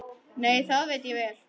Nei, það veit ég vel.